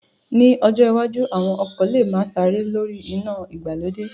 Ní ọjọ́ iwájú, àwọn ọkọ̀ lè máa sáré lórí iná ìgbàlódé